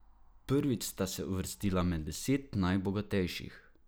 Prvič sta se uvrstila med deset najbogatejših.